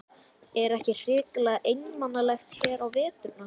Er ekki hrikalega einmanalegt hér á veturna?